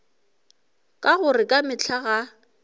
ka gore ka mehla ga